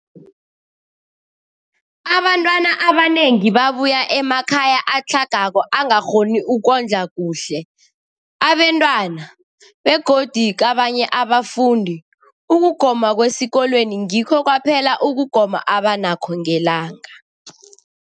Abantwana abanengi babuya emakhaya atlhagako angakghoni ukondla kuhle abentwana, begodu kabanye abafundi, ukugoma kwesikolweni ngikho kwaphela ukugoma abanakho ngelanga.